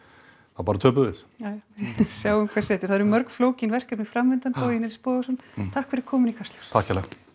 þá bara töpum við já sjáum hvað setur það eru mörg flókin verkefni framundan Bogi Nils Bogason takk fyrir komuna í Kastljós takk